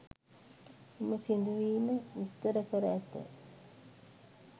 මෙම සිදුවීම විස්තර කර ඇත.